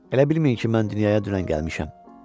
Elə bilməyin ki, mən dünyaya dünən gəlmişəm.